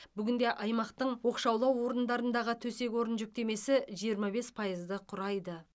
бүгінде аймақтың оқшаулау орындарындағы төсек орын жүктемесі жиырма бес пайызды құрайды